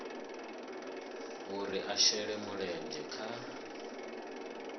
uri a shele mulenzhe kha